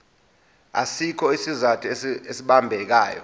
asikho isizathu esibambekayo